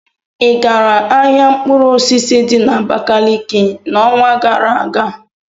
ị gara ahịa mkpụrụ osisi di na Abakaliki n'ọnwa gara aga?